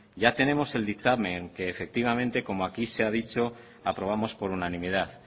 ya tenemos el dictamen que efectivamente como aquí se ha dicho aprobamos por unanimidad